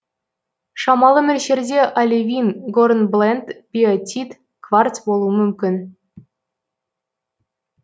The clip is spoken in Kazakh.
шамалы мөлшерде оливин горнбленд биотит кварц болуы мүмкін